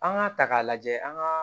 An k'a ta k'a lajɛ an ka